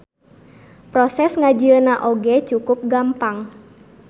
Proses ngajieuna oge cukup gampang.